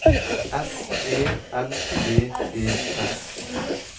S E N D E S